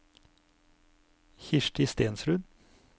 Kirsti Stensrud